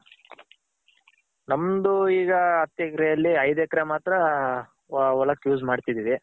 ನಮ್ದು ಈಗ ಹತ್ತ್ ಎಕ್ರೆ ಅಲ್ಲಿ ಐದ್ ಎಕ್ರೆ ಮಾತ್ರ ಹೊಲಕ್ use ಮಾಡ್ತಿದಿರಿ.